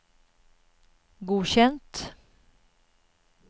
godkjent